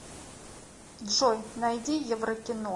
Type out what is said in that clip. джой найди еврокино